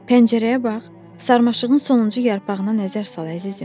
Pəncərəyə bax, sarmaşığın sonuncu yarpağına nəzər sal, əzizim.